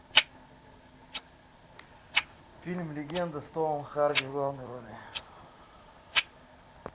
фильм легенда с томом харди в главной роли